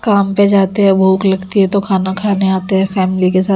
काम पे जाते है भूग लगती हे तो खाना खाने आते है फॅमिली के साथ खाना --